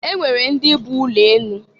E nwere ndị bụ ụlọ enụ.